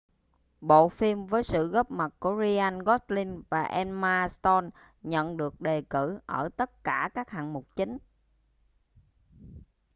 bộ phim với sự góp mặt của ryan gosling và emma stone nhận được đề cử ở tất cả các hạng mục chính